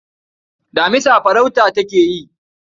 Damisa farauta take yi.